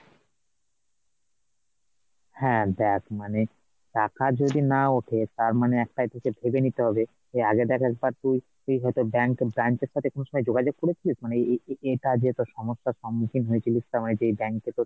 হ্যাঁ দেখ মানে টাকা যদি না ওঠে তার মানে একটা কিছু ভেবে নিতে হবে যে আগের balance টা কি তুই হয়তো bank bank এর সাথে কোনসময় যোগাযোগ করেছিলিস মানে এই এইটা যে তোর সমস্যার সম্মুখীন হয়েছিলিস তার মানে যে bank এ তোর,